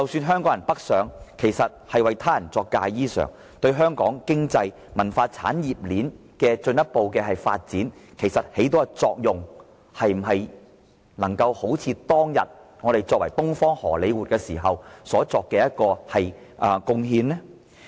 香港人北上其實是為他人作嫁衣裳，這樣對香港的經濟、文化產業鏈的進一步發展所起的作用，能否與當年香港被稱為"東方荷李活"時的貢獻所比擬呢？